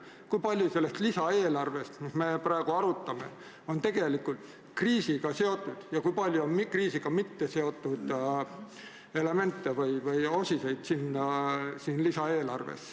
Kui palju sellest lisaeelarvest, mida me praegu arutame, on tegelikult kriisiga seotud ja kui palju on selles lisaeelarves kriisiga mitteseotud elemente või osiseid?